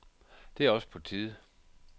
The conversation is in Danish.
Det er også på tide.